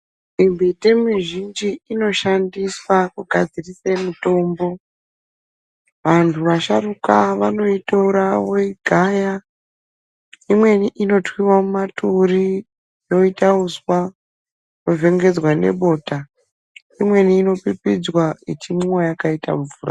Mimbiti mizhinji inoshandiswa kugadzirise mitombo. Vantu vasharuka vanoitora voigaya. Imweni inotwiwa mumaturi, yoita uswa, yovhengedzwa nebota. Imweni inopipidzwa ichimwiwa yakaita mvura.